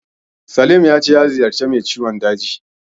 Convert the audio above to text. Salim ya ce ya ziyarci mai ciwon dajin.